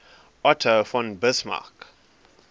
otto von bismarck